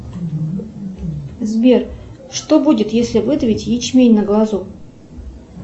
сбер что будет если выдавить ячмень на глазу